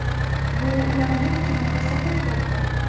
Bu ularning kuchini ko‘rsatib turibdi.